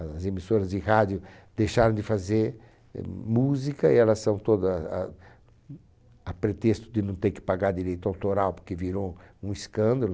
As emissoras de rádio deixaram de fazer música e elas são todas ah, a pretexto de não ter que pagar direito autoral, porque virou um escândalo.